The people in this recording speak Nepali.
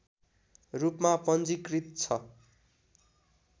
रूपमा पञ्जीकृत छ